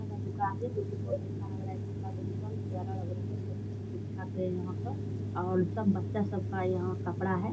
का दुकान है जो की बहुत अच्छा लग रहा है कपड़ा का दुकान प्यारा लग रहा है सब कुछ ठीक-ठाक है यहाँ पर और सब बच्चा सब का यहाँ कपड़ा है।